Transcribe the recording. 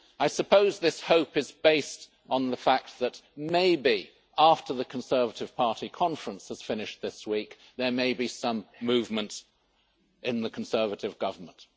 I suppose this hope is based on the fact that maybe, after the Conservative Party conference has finished this week, there may be some movement in the Conservative Government.